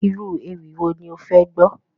Irú ewì wo ni ó fẹ́ gbọ́?